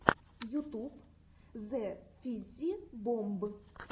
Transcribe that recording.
ютуб зэфиззибомб